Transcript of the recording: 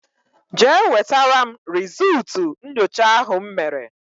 Jee wetara m rizultú nyocha ahụ m mere!!!